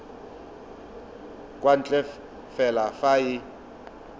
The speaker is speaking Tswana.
kwa ntle fela fa e